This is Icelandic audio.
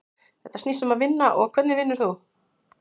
Þetta snýst um að vinna og hvernig vinnur þú?